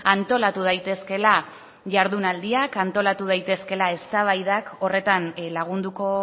antolatu daitezkeela jardunaldiak antolatu daitekeela eztabaidak horretan lagunduko